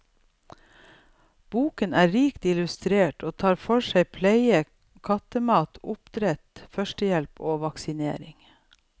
Boken er rikt illustrert og tar for seg pleie, kattemat, oppdrett, førstehjelp og vaksinering.